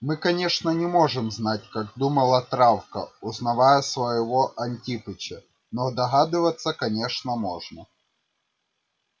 мы конечно не можем знать как думала травка узнавая своего антипыча но догадываться конечно можно